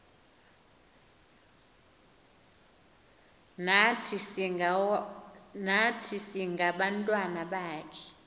nathi singabantwana bakho